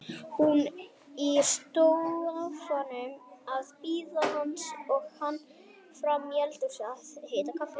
Hún í sófanum að bíða hans og hann frammi í eldhúsi að hita kaffi.